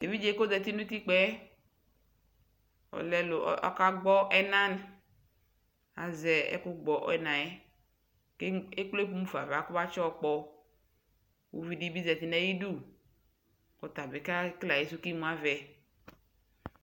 ɛvidzɛ kʋ ɔzati nʋ ʋtikpaɛ ,ɔka gbɔ ɛna azɛ ɛkʋ gbɔ ɛnaɛ kʋɛkplɛ mʋƒa aɣa kʋɔbatsi yɔ gbɔ, ʋvidibi zati nʋ ayidʋ kʋ ɔtabi kɛkɛlɛ ayisʋ kʋ imʋ avɛ